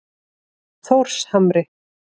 Þórshamri